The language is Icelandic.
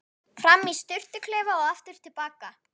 Fram í sturtuklefa og aftur til baka.